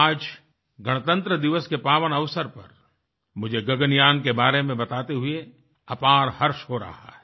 आज गणतंत्रदिवस के पावन अवसर पर मुझे गगनयान के बारे में बताते हुए अपार हर्ष हो रहा है